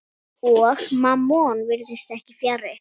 Og Mammon virðist ekki fjarri.